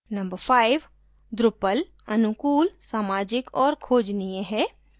number 5: drupal अनुकूल सामाजिक और खोजनीय है